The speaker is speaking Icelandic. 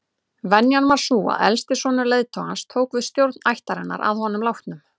Venjan var sú að elsti sonur leiðtogans tók við stjórn ættarinnar að honum látnum.